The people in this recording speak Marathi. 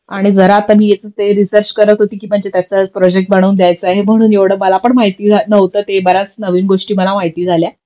आणि जरा आता मी यायचंच ते रिसर्च करत होती कि म्हणजे त्याचा प्रोजेक्ट म्हणून द्यायचंय म्हणून एवढं मला पण माहिती नव्हतं ते बऱ्याच नवीन गोष्टी माहिती झाल्या